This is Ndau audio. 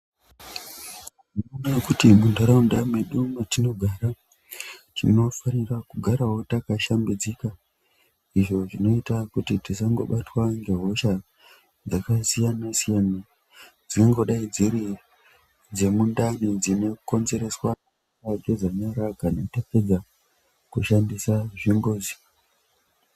Muntaraunda mwedu mwatinogara tinofanira kugaravo makashambidzika izvo zvinoita kuti tisangobatwa ngehosha dzakasiyana-siyana. Dzingangodai dziri dzemundani dzinokonzereswa nekusai geza nyara kana tabva kushandisa zvimbuzi.